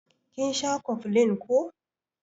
Kin sha cofflin ko?